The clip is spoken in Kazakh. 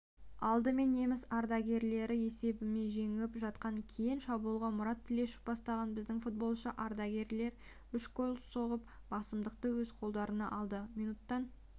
алдымен неміс ардагерлері есебімен жеңіп жатқан кейін шабуылда мұрат тлешев бастаған біздің футболшы-ардагерлер үш гол соғып басымдықты өз қолдарына алды минуттан